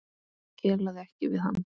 Kelaði ekki við hann.